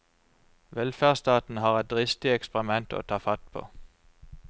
Velferdsstaten var et dristig eksperiment å ta fatt på.